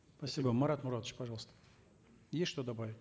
спасибо марат муратович пожалуйста есть что добавить